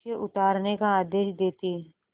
उसे उतारने का आदेश देते